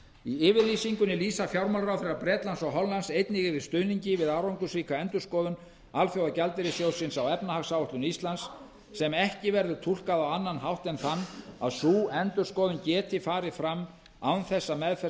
í yfirlýsingu lýsa fjármálaráðherrar bretlands og hollands einnig yfir stuðningi við árangursríka endurskoðun alþjóðagjaldeyrissjóðsins á efnahagsáætlun ísland sem ekki verður túlkað á annan hátt en þann að sú endurskoðun geti farið fram án þess að meðferð